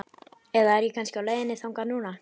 Eða er ég kannski á leiðinni þangað núna?